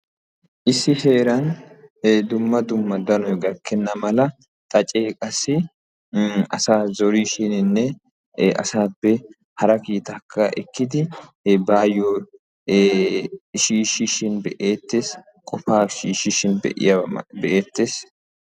Issi heeran dumma dumma danoy gakenna mala xaace hara zorishininne asaappe qofaa ekkishin be'eetees.